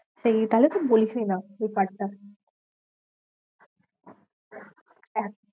সেই তাহলে তুই বলিসই না এই part টা